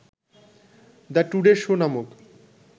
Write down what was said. ‘the Today Show’ নামক